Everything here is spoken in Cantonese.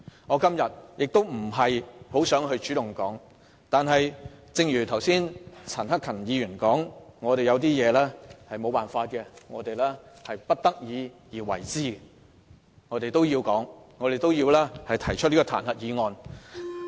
我今天本來不想主動發言，但正如剛才陳克勤議員所說，有些事情我們迫不得已而為之，因此我們要提出這項彈劾議案。